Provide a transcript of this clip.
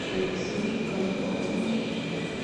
алексея коновалова